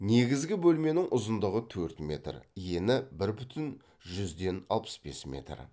негізгі бөлменің ұзындығы төрт метр ені бір бүтін жүзден алпыс бес метр